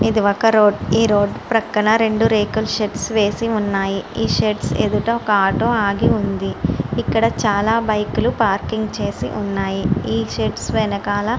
ఇది ఒక road road ప్రక్కన రెండు రేకుల షెడ్స్ వేసి ఉన్నాయి ఈ షేడ్స్ ఎదుట ఒక ఆటో ఆగి ఉంది ఇక్కడ చాలా బైకులు పార్కింగ్ చేసి ఉన్నాయి.